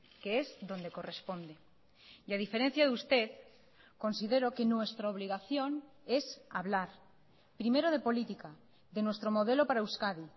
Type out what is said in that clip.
que es donde corresponde y a diferencia de usted considero que nuestra obligación es hablar primero de política de nuestro modelo para euskadi